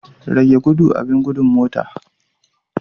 Rage gudu abin gudun motar.